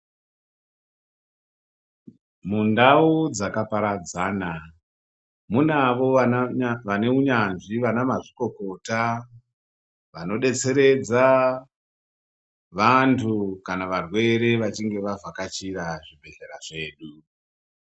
Mundau dzakaparadzana, munavo vanewunyanzvi, vanamazvikokota, vanodetseredza vantu kana varwere vachinge vavhakachira zvibhedhlera zvedu.